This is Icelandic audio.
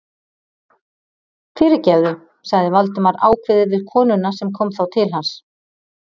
Fyrirgefðu- sagði Valdimar ákveðið við konuna sem kom þá til hans.